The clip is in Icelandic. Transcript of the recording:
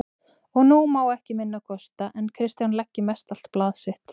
Og nú má ekki minna kosta en Kristján leggi mestallt blað sitt